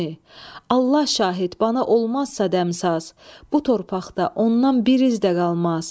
Allah şahid, bana olmazsa dəmsaz, bu torpaqda ondan bir iz də qalmaz.